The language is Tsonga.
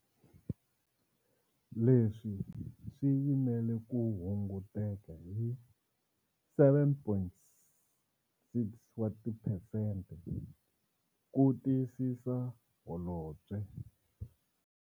Leswi swi yimela ku hunguteka hi 7.6 wa tiphesente, ku tiyisisa Holobye.